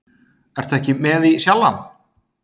Ertu ekki með í Sjallann?